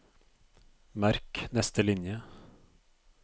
Merk neste linje